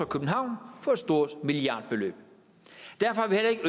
københavn for et stort milliardbeløb derfor